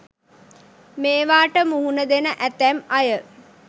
මේවාට මුහුණ දෙන ඇතැම් අය